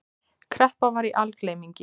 Kreppa var í algleymingi.